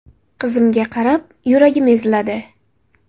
Qizimga qarab, yuragim eziladi.